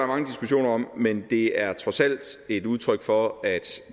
mange diskussioner om men det er trods alt et udtryk for at